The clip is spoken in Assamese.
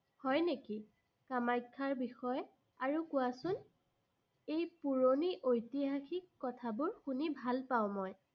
হয় নেকি? কামাখ্যাৰ বিষয়ে আৰু কোৱাচোন। এই পুৰণি ঐতিহাসিক কথাবোৰ শুনি ভাল পাঁও মই।